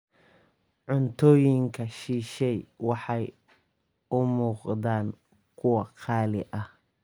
Cuntooyinka shisheeye waxay u muuqdaan kuwo qaali ah.